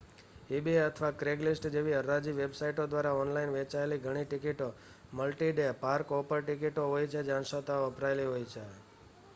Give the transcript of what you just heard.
eBay અથવા Craigslist જેવી હરાજી વેબસાઇટો દ્વારા ઓનલાઇન વેચાયેલી ઘણી ટિકિટો મલ્ટી-ડે પાર્ક-હોપર ટિકિટો હોય છે જે અંશતઃ વપરાયેલી હોય છે